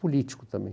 político também.